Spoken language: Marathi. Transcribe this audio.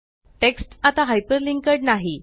टेक्स्ट आता हायपरलिंक्ड नाही